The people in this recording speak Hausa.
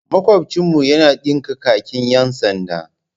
Makwabcinmu yana dinka kakin 'yan sanda.